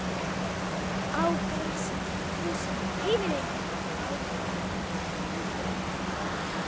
Á grasið, húsin, himininn og bláleit fjöll.